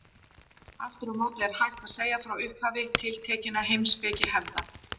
Aftur á móti er hægt að segja frá upphafi tiltekinna heimspekihefða.